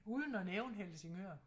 Uden at nævne Helsingør